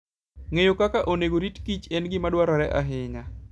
Ng'eyo kaka onego orit kichen gima dwarore ahinya.